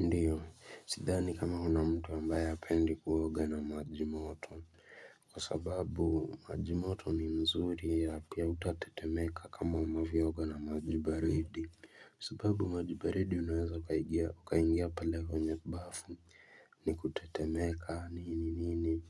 Ndiyo sidhani kama huna mtu ambaye apendi kuoga na maji moto kwa sababu maji moto ni mzuri ya pia utatetemeka kama unavyo oga na maji baridi kwa sababu majibaridi unaweza ukaigia ukaingia pale kwenye bafu ni kutetemeka nini ni